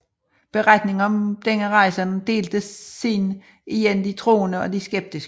Beretningen om denne rejse delte siden igen de troende og de skeptiske